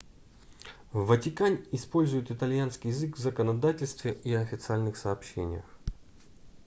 в ватикане используют итальянский язык в законодательстве и официальных сообщениях